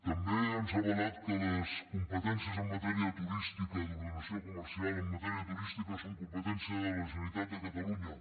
també ens ha avalat que les competències en matèria turística d’ordenació comercial en matèria turística són competència de la generalitat de catalunya